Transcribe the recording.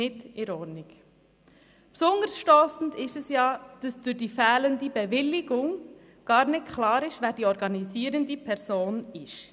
Besonders stossend ist es, dass durch die fehlende Bewilligung gar nicht klar ist, wer die organisierende Person ist.